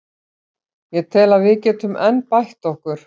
Ég tel að við getum enn bætt okkur.